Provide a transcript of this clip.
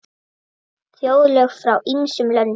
Þjóðlög frá ýmsum löndum.